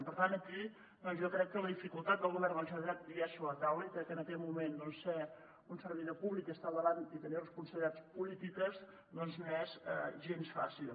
i per tant aquí doncs jo crec que la dificultat del govern de la generalitat hi és sobre la taula i crec que en aquest moment doncs ser un servidor públic i estar al davant i tenir responsabilitats polítiques no és gens fàcil